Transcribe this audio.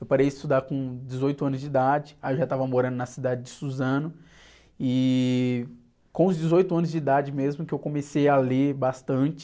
Eu parei de estudar com dezoito anos de idade, aí eu já estava morando na cidade de Suzano e com os dezoito anos de idade mesmo que eu comecei a ler bastante,